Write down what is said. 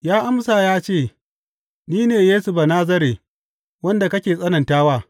Ya amsa ya ce, Ni ne Yesu Banazare, wanda kake tsanantawa.’